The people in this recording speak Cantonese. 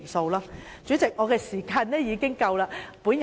代理主席，我的發言時間已經完結。